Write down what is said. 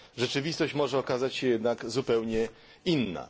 Rzeczywistość może okazać się jednak zupełnie inna.